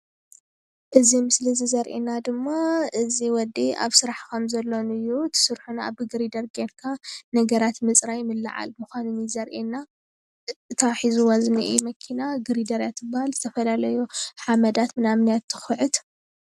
እዚ ምስሊ ዘርእየና ድማ እዚ ወዲ ኣብ ስራሕ ከምዘሎን እዩ። እቲ ስርሑ ድማ ብግሪደር ገይርካ ነገራት ምፅራይ ምልዓል ምኳኑ እዩ ዘርእየና። እታ ሒዝዋ ዝንሄ መኪና ግሪደር እያ ትበሃል ዝተፈላለዩ ሓመዳት ምናምን እያ ትኩዕት::